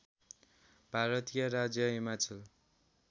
भारतीय राज्य हिमाचल